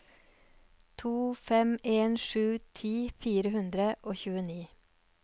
to fem en sju ti fire hundre og tjueni